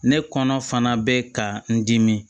Ne kɔnɔ fana bɛ ka n dimi